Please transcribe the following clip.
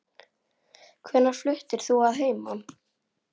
Hvenær fluttir þú að heiman?